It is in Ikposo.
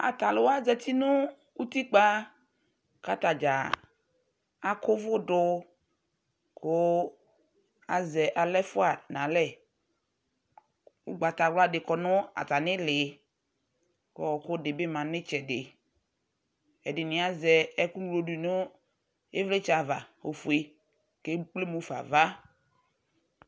Atalʋwa zati nʋ utikpa k'atadzaa akʋ ʋvʋ dʋ kʋ azɛ aɣla ɛfʋa n 'alr, ugbatawla dɩ kɔ nʋ atamili k'ɔɔkʋ dɩ bɩ ma n'itsɛdɩ Ɛdɩnɩ azɛ ɛkʋ ŋlo ɛkʋ ŋlo dʋ nʋ ɩvlɩtsɛ ava ofue, k'ekplemʋfa ava